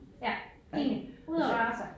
Ja enig ud og røre sig